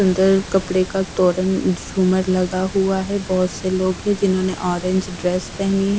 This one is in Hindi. अंदर कपड़े का तोरण शुमर लगा हुआ है बहुत से लोग हैं जिन्होंने ऑरेंज ड्रेस पहनी है।